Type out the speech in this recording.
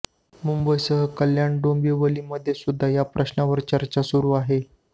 मुंबईसह कल्याण डोबिंवलीमध्ये सुद्धा या प्रश्नावर चर्चा सुरू आहे